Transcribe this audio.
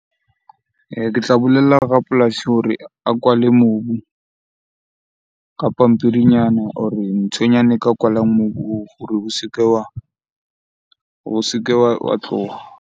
Ke tla bolella rapolasi hore a kwale mobu ka pampiri nyana or-e nthonyana e ka kwalang mobu hore o se ke wa tloha.